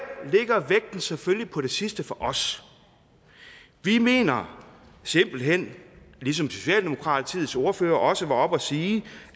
her selvfølgelig på det sidste for os vi mener simpelt hen ligesom socialdemokratiets ordfører også var oppe at sige